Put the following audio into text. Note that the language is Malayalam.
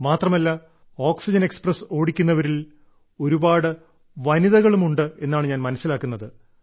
മാത്രമല്ല ഓക്സിജൻ എക്സ്പ്രസ്സ് ഓടിക്കുന്നവരിൽ ഒരുപാട് വനിതകളുമുണ്ട് എന്നാണ് ഞാൻ മനസ്സിലാക്കുന്നത്